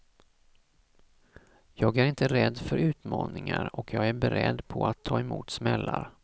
Jag är inte rädd för utmaningar och jag är beredd på att ta emot smällar.